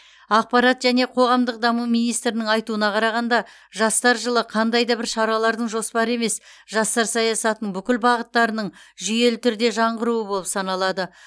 ақпарат және қоғамдық даму министрінің айтуына қарағанда жастар жылы қандай да бір шаралардың жоспары емес жастар саясатының бүкіл бағыттарының жүйелі түрде жаңғыруы болып саналады